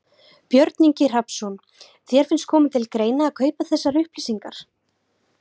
Björn Ingi Hrafnsson: Þér finnst koma til greina að kaupa þessar upplýsingar?